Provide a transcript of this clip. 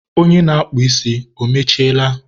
onye na-akpụ ísí, o mechiela?